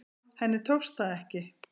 Henni tókst það ekki.